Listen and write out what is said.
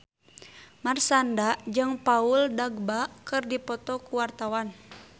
Marshanda jeung Paul Dogba keur dipoto ku wartawan